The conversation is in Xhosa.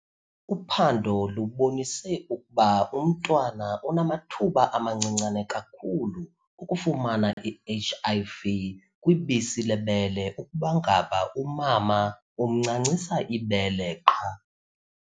Uphando lubonise ukuba umntwana unamathuba amancinane kakhulu okufumana i-HIV kwibisi lebele ukuba ngaba umama umncancisa ibele qha.